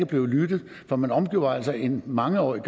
blevet lyttet for man omgjorde altså en mangeårig